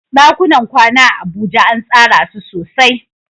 ɗakunan kwana a Abuja an tsara su sosai.